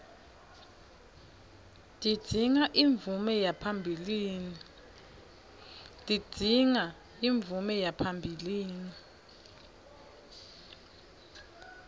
tidzinga imvume yaphambilini